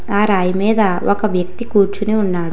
ఆ రాయి మీద ఒక వ్యక్తి కూర్చొని ఉన్నారు.